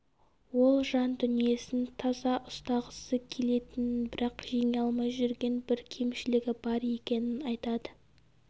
ол жан дүниесін таза ұстағысы келетінін бірақ жеңе алмай жүрген бір кемшілігі бар екенін айтады